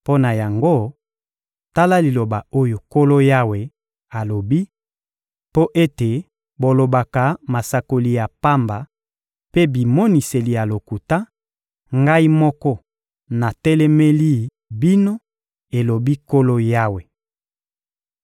Mpo na yango, tala liloba oyo Nkolo Yawe alobi: Mpo ete bolobaka masakoli ya pamba mpe bimoniseli ya lokuta, Ngai moko natelemeli bino, elobi Nkolo Yawe.